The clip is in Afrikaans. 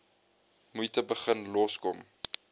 moeite begin loskom